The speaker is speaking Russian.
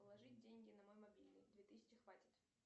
положить деньги на мой мобильный две тысячи хватит